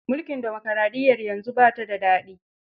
Mulkin dimokaraɗiyyar yanzu ba ta da daɗi.